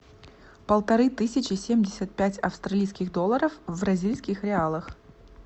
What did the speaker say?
полторы тысячи семьдесят пять австралийских долларов в бразильских реалах